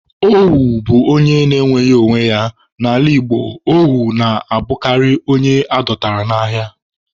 Ohu bụ onye enweghị onwe ya, n'ala Igbo, ohu na-abụkarị onye adọtara n'agha.